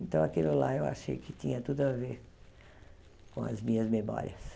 Então, aquilo lá eu achei que tinha tudo a ver com as minhas memórias.